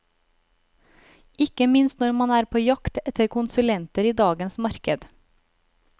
Ikke minst når man er på jakt etter konsulenter i dagens marked.